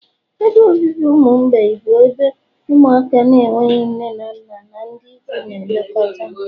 ebe obibi ụmụ mgbei bụ ebe ụmụaka na-enweghị nne na nna na ndị ikwu na-elekọta ha